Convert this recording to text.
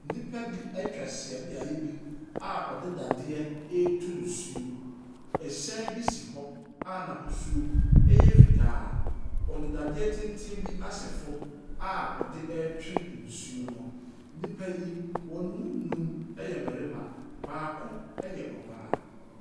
Nnipa bi atwa ahyia beaeɛ bi a wɔde dadeɛ retu nsuo. Ɛhyɛn bi si hɔ a n'ahosuo yɛ fitaa. Wɔde dadeɛ tenten bi asɛ fam a wɔde retwe nsuo no. Nnipa yi, wɔn mu nnumyɛ mmarima, baako yɛ ɔbaa.